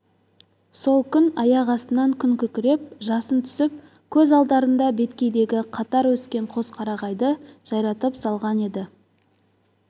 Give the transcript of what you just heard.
сол күн аяқ астынан күн күркіреп жасын түсіп көз алдарында беткейдегі қатар өскен қос қарағайды жайратып салған еді